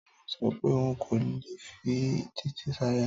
Táyọ̀ sọ pé òun kò lè fi Títí ṣaya